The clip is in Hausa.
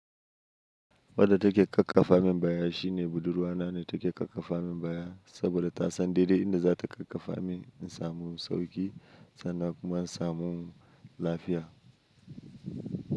Wadda take ƙaƙƙafa min baya shine budurwa na ne take ƙaƙƙafa min baya saboda ta san daidai inda za ta ƙaƙƙafa min in samu sauƙi sannan kuma in samu lafiya.